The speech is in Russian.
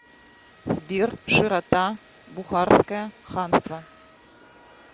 сбер широта бухарское ханство